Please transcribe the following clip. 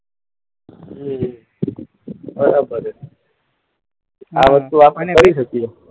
હમ્મ બરાબર છે. આ વસ્તુ આપણે કરી શકીએ.